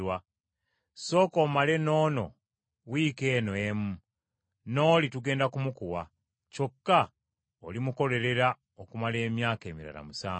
Sooka omale n’ono wiiki eno emu, n’oli tugenda kumukuwa; kyokka olimukolerera okumala emyaka emirala musanvu.”